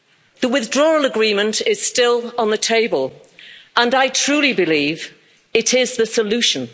The Withdrawal Agreement is still on the table, and I truly believe it is the solution.